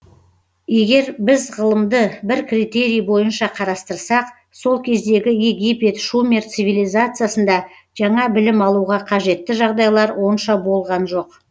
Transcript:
егер біз ғылымды бір критерий бойынша қарастырсақ сол кездегі египет шумер цивилизациясында жаңа білім алуға қажетті жағдайлар онша болған жоқ